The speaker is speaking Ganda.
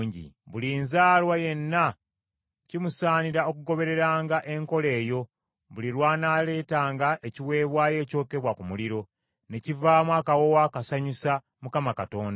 “Buli nzaalwa yenna kimusaanira okugobereranga enkola eyo buli lw’anaaleetanga ekiweebwayo ekyokebwa ku muliro, ne kivaamu akawoowo akasanyusa Mukama Katonda.